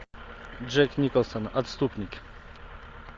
джек николсон отступники